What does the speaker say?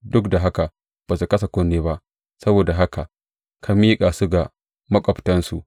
Duk da haka ba su kasa kunne ba, saboda haka ka miƙa su ga maƙwabtansu.